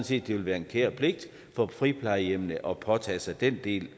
set det vil være en kær pligt for friplejehjemmene også at påtage sig den del